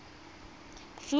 fiwang ka nako e a